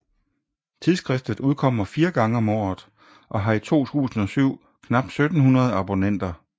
Tidsskriftet udkommer 4 gange om året og har i 2007 knap 1700 abonnenter